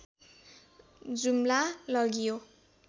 जुम्ला लगियो